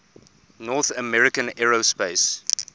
north american aerospace